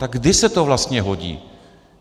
Tak kdy se to vlastně hodí?